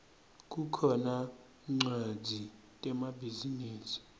kukhona tmcwadzi temabhizinisi